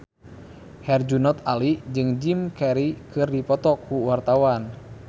Herjunot Ali jeung Jim Carey keur dipoto ku wartawan